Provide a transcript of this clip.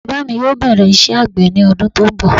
Bàbá mi yóò bẹ̀rẹ̀ iṣẹ́ àgbẹ̀ ní ọdún tí ó ń bọ̀